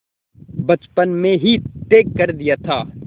बचपन में ही तय कर दिया था